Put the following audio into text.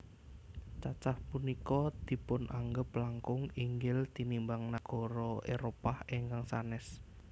Cacah punika dipunanggep langkung inggil tinimbang nagara Éropah ingkang sanès